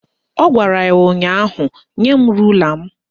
Ọ gwara ya ụnyaahụ "Nye m rula m"